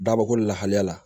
Dabako lahaliya la